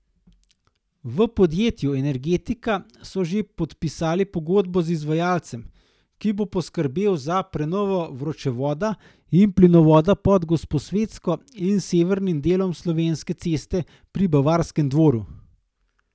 V podjetju Energetika so že podpisali pogodbo z izvajalcem, ki bo poskrbel za prenovo vročevoda in plinovoda pod Gosposvetsko in severnim delom Slovenske ceste pri Bavarskem dvoru.